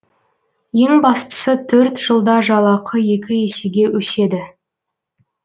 ең бастысы төрт жылда жалақы екі есеге өседі